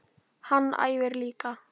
Hann æfir líka.